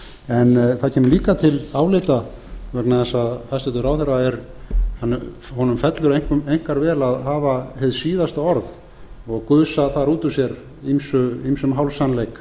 en það kemur líka til álita vegna þess að hæstvirtur ráðherra fellur einkar vel að hafa hið síðasta orð og gusa þar út úr sér ýmsum hálfsannleik